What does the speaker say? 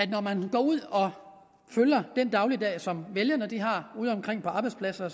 når man går ud og følger den dagligdag som vælgerne har udeomkring på arbejdspladser